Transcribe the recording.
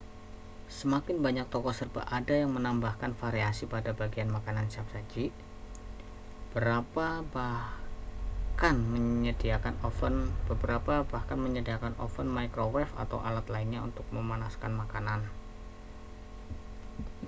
semakin banyak toko serba ada yang menambahkan variasi pada bagian makanan siap saji beberapa bahkan menyediakan oven microwave atau alat lainnya untuk memanaskan makanan